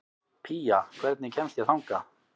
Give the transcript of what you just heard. Pía, hvernig kemst ég þangað?